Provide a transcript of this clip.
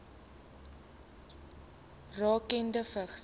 rakende vigs